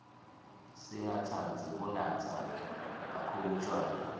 singatsandzi kunatsa khkhulu tjwala